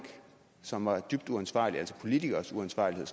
som var dybt uansvarlig altså at politikeres uansvarlighed